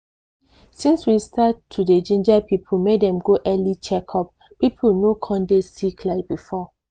since we start to dey ginger people make dem go for early check-up people no con dey sick like before